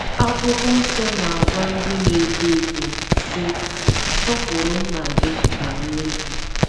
Akwụkwọ Nsọ na - agwa ndị na - eto eto, sị: “ Sọpụrụ nna gị na nne gị. ”